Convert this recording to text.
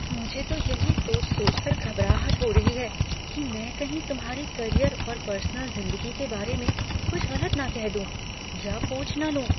मुझे तो यही सोच सोचकर घबराहट हो रही है कि मैं कहीं तुम्हारे करियर और पर्सनल ज़िंदगी के बारे में कुछ गलत ना कह दूँ या पूछ ना लूँ।